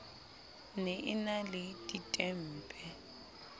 ne e na le ditempe